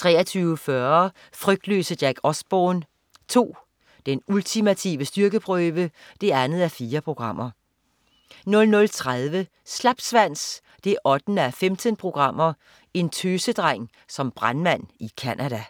23.40 Frygtløse Jack Osbourne 2. Den ultimative styrkeprøve 2:4 00.30 Slapsvans 8:15. en tøsedreng som brandmand i Canada